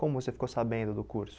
Como você ficou sabendo do curso?